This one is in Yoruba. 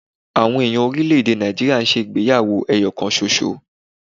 Àwọn èèyàn orílẹ̀-èdè Nàìjíríà ń ṣe ìgbéyàwó ẹyọ kan ṣoṣo